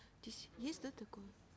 здесь есть да такое